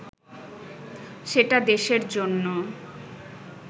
সেটা দেশের জন্য